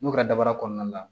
N'u ka dabara kɔnɔna la